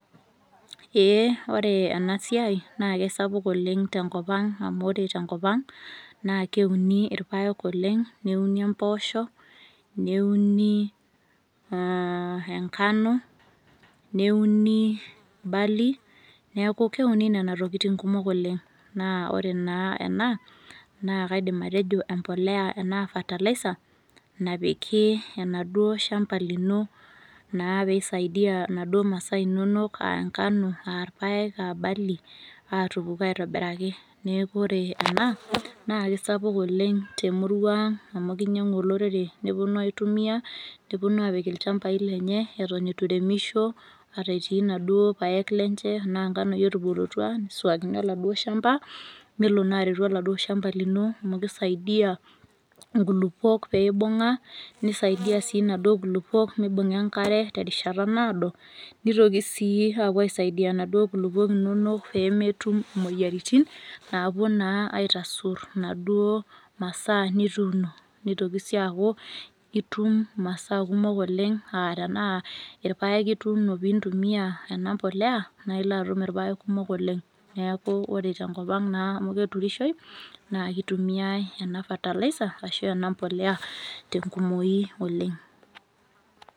Eeh ore enasiai naakesapuk oleng' tenkopang' amu ore tenkopang' naakeuni irpaek oleng' neuni empoosho, neuni aah engano, nieuni barley neaku keuni nena tokitin kumok oleng'. Naa ore naa ena naa kaidim atejo empolea enaa fertilizer napiki enaduo shamba lino naa peisaidia naduo masaa inonok aangano aarpaek aabarley aatupuku aitobiraki. Neaku ore ena naakesapuk oleng' temuruang' amu keinyang'u olorere nepuonu aitumia nepuonu apik ilchambai lenye eton etu eiremisho ata etii naduo paek lenche anaanganoi etubulutua neisuakini oladuo  shamba nelo naa aretu oladuo shamba lino amu keisaidia nkulukuok peeibung'a neisaidia sii naduo kulukuok meibung'a enkare terishata naado neitoki sii aapuo aisaidia naduo kulukuok inonok peemetum imuoyaritin naapuo naa aitasurr naduo masaa nituuno. Neitoki sii aaku itum masaa kumok oleng' aa tenaa ilpaek ituuno piintumia enapolea naailoatum irpaek kumok oleng'. Neaku ore tenkopang' naamu keturishoi naa keitumiai ena fertilizer ashu ena mpolea tenkumoyi oleng'.